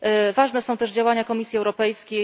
Ważne są też działania Komisji Europejskiej.